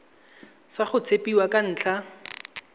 sa go tshepiwa ka ntlha